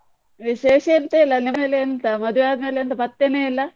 ವಿಶೇಷ ಎಂತ ಇಲ್ಲ ಎಂತ ಮದುವೆ ಆದ್ಮೇಲೆ ಎಂತ ಪತ್ತೇನೆ ಇಲ್ಲ?